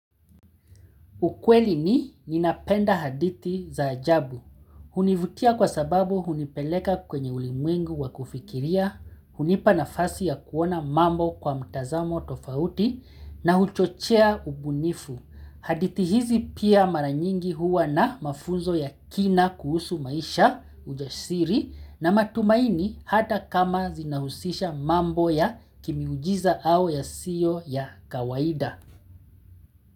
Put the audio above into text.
Ukweli ni ninapenda hadithi za ajabu. Hunivutia kwa sababu hunipeleka kwenye ulimwengu wa kufikiria, hunipa nafasi ya kuona mambo kwa mtazamo tofauti, na huchochea ubunifu. Hadithi hizi pia mara nyingi huwa na mafunzo ya kina kuhusu maisha, ujasiri, na matumaini hata kama zinahusisha mambo ya kimiujiza au yasiyo ya kawaida.